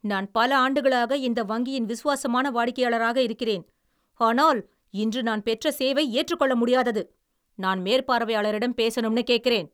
நான் பல ஆண்டுகளாக இந்த வங்கியின் விசுவாசமான வாடிக்கையாளராக இருக்கிறேன், ஆனால் இன்று நான் பெற்ற சேவை ஏற்றுக்கொள்ள முடியாதது. நான் மேற்பார்வையாளரிடம் பேசணும்னு கேக்குறேன்!